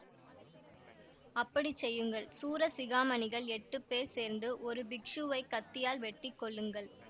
அப்படி செய்யுங்கள் சூர சிகாமணிகள் எட்டுப் பேர் சேர்ந்து ஒரு பிக்ஷுவைக் கத்தியால் வெட்டி கொல்லுங்கள்